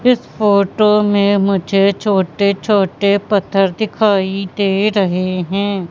इस फोटो में मुझे छोटे छोटे पत्थर दिखाई दे रहे हैं।